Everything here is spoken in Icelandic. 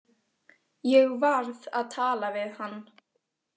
Ég varð að tala við hann.